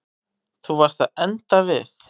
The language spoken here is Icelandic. Þú varst að enda við.